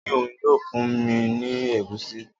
O ni oun yoo fun mi ni egusi.